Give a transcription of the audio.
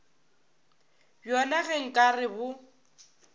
bjona ge nka re bo